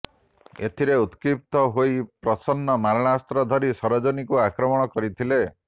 ଏଥିରେ ଉତକ୍ଷିପ୍ତ ହୋଇ ପ୍ରସନ୍ନ ମାରଣାସ୍ତ୍ର ଧରି ସରୋଜିନୀଙ୍କୁ ଆକ୍ରମଣ କରିଥିଲେ